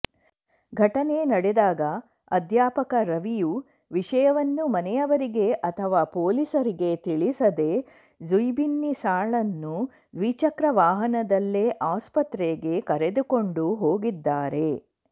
ಘಟನೆ ನಡೆದಾಗ ಅಧ್ಯಾಪಕ ರವಿಯು ವಿಷಯವನ್ನು ಮನೆಯವರಿಗೆ ಅಥವಾ ಪೊಲೀಸರಿಗೆ ತಿಳಿಸದೇ ಝೈಬುನ್ನಿಸಾಳನ್ನು ದ್ವಿಚಕ್ರ ವಾಹನದಲ್ಲೇ ಆಸ್ಪತ್ರೆಗೆ ಕರೆದುಕೊಂಡು ಹೋಗಿದ್ದಾರೆ